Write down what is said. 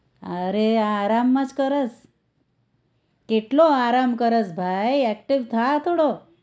અરે આરામ જ કરેશ. કેટલો આરામ કરેશ ભાઈ active થા થોડોક